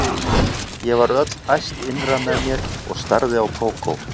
Ég varð öll æst innra með mér og starði á Kókó.